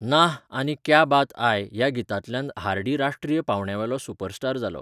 नाह आनी क्या बात आय ह्या गितांतल्यान हार्डी राश्ट्रीय पांवड्यावेलो सुपरस्टार जालो.